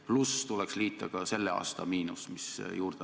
Tuleks juurde liita ka selle aasta miinus.